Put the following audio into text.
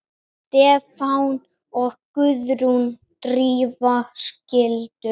Stefán og Guðrún Drífa skildu.